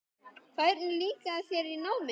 Hvernig líkaði þér í náminu?